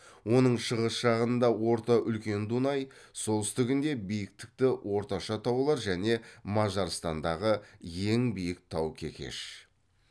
оның шығыс жағында орта үлкен дунай солтүстігінде бикіктікті орташа таулар және мажарстандағы ең биік тау кекеш